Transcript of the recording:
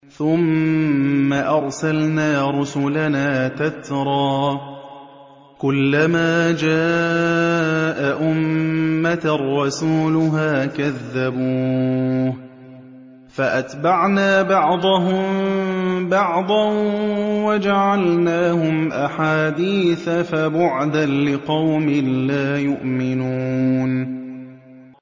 ثُمَّ أَرْسَلْنَا رُسُلَنَا تَتْرَىٰ ۖ كُلَّ مَا جَاءَ أُمَّةً رَّسُولُهَا كَذَّبُوهُ ۚ فَأَتْبَعْنَا بَعْضَهُم بَعْضًا وَجَعَلْنَاهُمْ أَحَادِيثَ ۚ فَبُعْدًا لِّقَوْمٍ لَّا يُؤْمِنُونَ